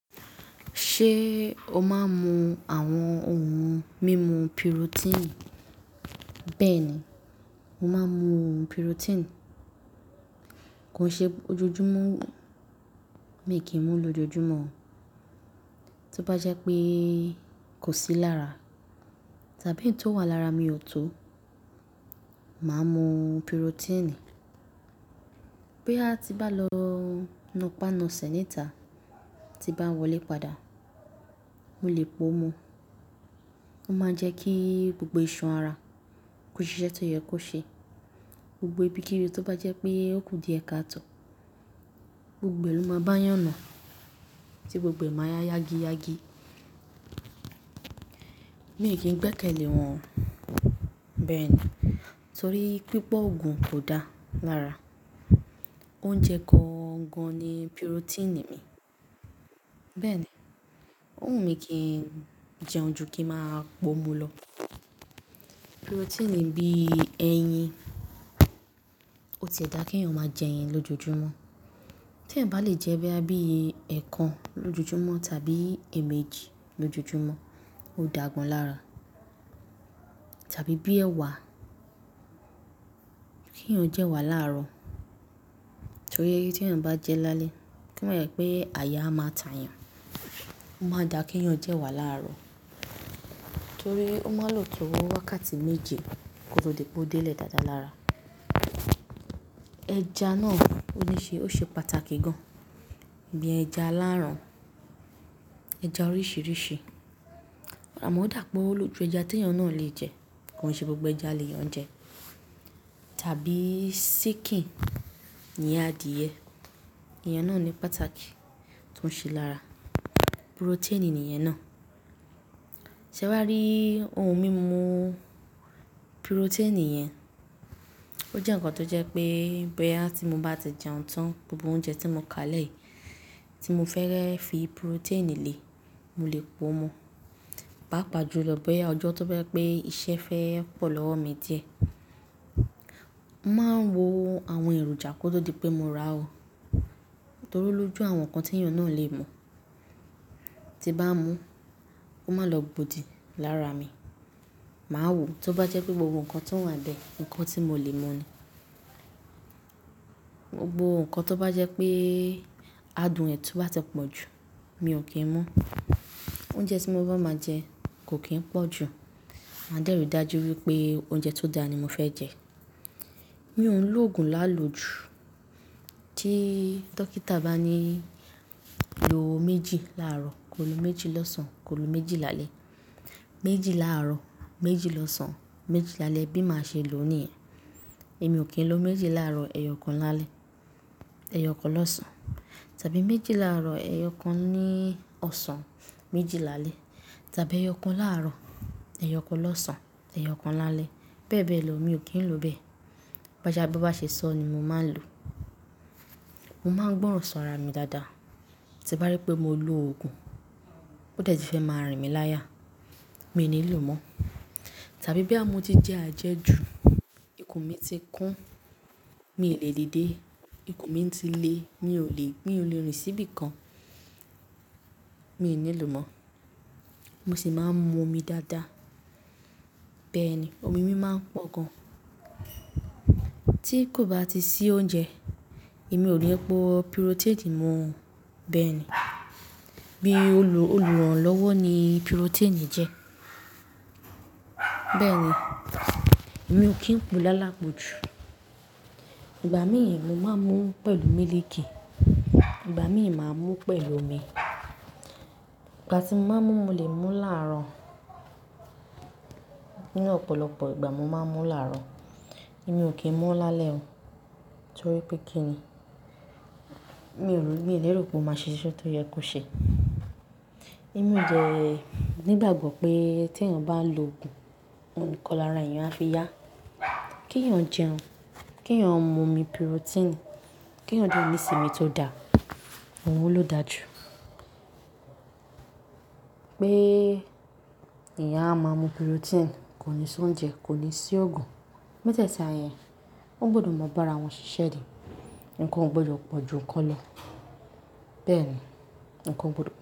Ṣé o máa ń mu àwọn ohun mímu protein? Bẹ́ẹ̀ ni, mo máa ń mu ohun protein. Kò ṣe ojoojúmọ́ mi kì í mú lójoojúmọ́ oo. Tí ó bá jẹ́ pé kò sí lára, tàbí ètò wà lára mi ò tó, màá mu protein. Bí a ti bá lọ nu pa nu sẹ́ nítà, tí bá wọlé padà, mo lè po mu. Ó máa ń jẹ́ kí gbogbo iṣan ara kó ṣe iṣẹ́ tí ó yẹ kó ṣe. Gbogbo ibi kíbi tó bá jẹ́ pé ó kù díẹ̀ káàtò, gbogbo ẹ̀lù máa bá yàn nu, tí gbogbo ẹ̀ má ya yagii yági. Mi kì í gbẹ́kẹ̀lé wọn. Bẹ́ẹ̀ ni. Torí pípọ̀ Ògùn kò dáa lára. Oúnjẹ kan gan-an ni protein mi. Bẹ́ẹ̀ ni. Òun mi kì í jẹun ju kí ń máa po mu lọ. Protein bí ẹyin, ó ti dà kí èèyàn máa jẹ ẹyin lójoojúmọ́. Tí èèyàn bá le jẹ bẹ́ẹ̀ bá bí ẹẹkan lójoojúmọ́, tàbí èèmejì lójoojúmọ́, ó dàgbọ́n lára. Tàbí bí ẹwà, kí èèyàn jẹ wà láàárọ̀. Torí eyi tí èèyàn bá jẹ lálẹ́, kí wọ́n mọ̀ pé àyà máa tà yàn. Ó máa dà kí èèyàn jẹ wà láàárọ̀. Torí ó máa lò tó wákàtí méje kó tó lè bó dé lè dáadáa lára. Ẹja náà ó ní ṣe, ó ṣe pàtàkì gan-an. Bí ẹja aláràn, ẹja oríṣìíríṣìí. Amo o dà pé olójú ẹja tí èèyàn náà lè jẹ, kò ṣe gbogbo ẹja lè yàn jẹ. Tàbí síkìn, iyen adiye, iyen náà ní pàtàkì tó ń ṣe lára. Protein nìyẹn náà. Sẹ́ wá rí ohun mímu protein yẹn, ó jẹ́ ǹkan tó jẹ́ pé bí àti mú bá ti jẹun tán, gbogbo oúnjẹ tí mo ká lẹ́ẹ̀, tí mo fẹ́rẹ́ fi protein le, mo lè po mu. Papa ju lọ bí Ọjọ́ tó bá jẹ́ pé iṣẹ́ fẹ́ pọ̀ lọ́wọ́ mi díẹ̀. M á ń wo àwọn èròjà kó tó di pé mo rà ó. Torí olójú àwọn nǹkan tí èèyàn náà lè mu. Tí bá mú, ó máa lọ bodì lára mi. Màá wò tó bá jẹ́ pé gbogbo nǹkan tó wà bẹ́ẹ̀, nǹkan tí mo lè mu nì. Gbogbo nǹkan tó bá jẹ́ pé adùn ẹ to bá ti pọ̀ jù, mi ò kí ń mu. Oúnjẹ tí mo bá máa jẹ kò kí ń pọ̀ jù. Màá dẹ́rù dájú wípé oúnjẹ tó dáa ni mo fẹ́ jẹ. Mi ò ń lo ògùn láàlò jù. Tí dókítà bá ní lo méjì láàárọ̀, ko lu méjì lọ́sàn-án, ko lu méjì lálẹ́. Méjì láàárọ̀, méjì lọ́sàn-án, méjì lálẹ́ bí màá ṣe lò ó nìyẹn. Èmi ò kí ń lo méjì láàárọ̀, ẹyọ kan lálẹ́, ẹyọ kan lọ́sàn-án. Tàbí méjì láàárọ̀, ẹyọ kan ní ọ̀sán, méjì lálẹ́. Tàbí ẹyọ kan láàárọ̀, ẹyọ kan lọ́sàn-án, ẹyọ kan lálẹ́. Bẹ́ẹ̀ bẹ́ẹ̀ lo, mi ò kí ń lo bẹ́ẹ̀. Bà sha bí won bá ṣe sọ ni mo máa ń lò. Mo máa ń gbọ́ràn sọ́ra mi dáadáa. Tí bá rí pé mo lo ògùn, ó tẹ̀ti fẹ́ máa rìn mí láyà, mi ò ní lò mọ́. Tàbí bí àmo ti jẹ àjẹ́jù, ikùn mi ti kún, mi ò lè dìde. Ikùn mi ti le, mi ò lè, mi ò le rin síbi kan, mi ò ní lò mọ́. Mo sì máa ń mu omi dáadáa. Bẹ́ẹ̀ ni, omi mi máa ń pọ̀ gan. Tí kò bá ti sí oúnjẹ, èmi ò lè po protein mu. Bẹ́ẹ̀ ni. Bí olùrànlọ́wọ́ ni protein jẹ́. Bẹ́ẹ̀ ni. Èmi ò kí ń po lálápòjù. Ìgbà mìíràn mo máa ń mu pẹ̀lú mílìkì, ìgbà mìíràn màá mu pẹ̀lú omi. Ìgbà tí mo bá mu, mo lè mu láàárọ̀. Nínú ọ̀pọ̀lọpọ̀ ìgbà mo máa ń mu láàárọ̀. Èmi ò kí ń mu láalẹ́ o. Torí pé kí ni? Mi ò lè rí pé o máa ṣe iṣe tó yẹ kó ṣe. Èmi ò dẹ́ nígbàgbọ́ pé tí èèyàn bá lo ògùn, ohun kan lára èèyàn á fi yá. Kí èèyàn jẹun. Kí èèyàn mu omi protein. Kí èèyàn de ni isínmi tó dà. Ohun ló da ju. Pé eyan a máa mu protein, kò ní sọ oúnjẹ, kò ní si ògùn. Mẹ́tẹ̀ẹ̀ta yẹn, ó gbọdọ̀ mọ̀ bá ara wọn ṣiṣẹ́ ni. Ǹkan ò gbọdọ̀ pọ̀ ju ǹkan lọ. Bẹ́ẹ̀ ni. Ǹkan gbọdọ̀